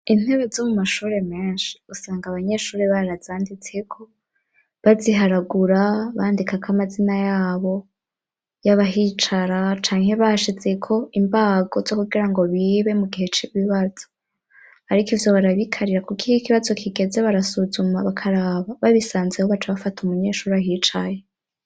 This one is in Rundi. Intebe zo mu mashuri menshi usanga abanyeshuri barazanditse ko baziharagura bandikaga amazina yabo y'abahicara canke bashize ko imbago zo kugira ngo bibe mu gihe c'ibibazo ariko ivyo barabikarira kuko ihe ikibazo kigeze barasuzuma bakaraba babisanze ho baca bafata umunyeshuri ahicaye.